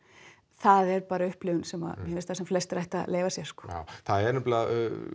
það er bara upplifun sem mér finnst að sem flestir ættu að leyfa sér já það er nefnilega